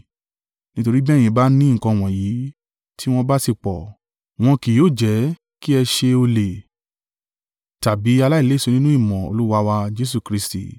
Nítorí bí ẹ̀yin bá ní nǹkan wọ̀nyí tí wọ́n bá sì pọ̀, wọn kì yóò jẹ́ kí ẹ ṣe ọ̀lẹ tàbí aláìléso nínú ìmọ̀ Olúwa wa Jesu Kristi.